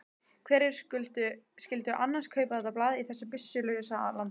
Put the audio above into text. Hverjir skyldu annars kaupa þetta blað í þessu byssulausa landi?